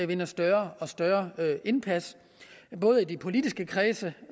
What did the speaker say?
vinder større og større indpas både i de politiske kredse